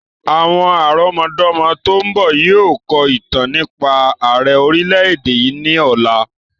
Àwọn àrọmọdọ́mọ tòun bọ̀ yìí ó kọ̀ ìtàn nípa àrẹ orìlẹ̀-èdè yìí ni ọ̀la.